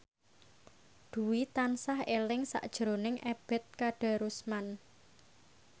Dwi tansah eling sakjroning Ebet Kadarusman